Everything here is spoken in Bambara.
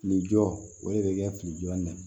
Fili jɔ o de bɛ kɛ fili jɔli na